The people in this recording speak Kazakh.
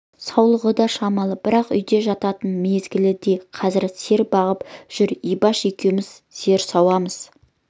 саулығы да шамалы бірақ үйде жататын мезгіл ме қазір сиыр бағып жүр ибаш екеуміз сиыр сауамыз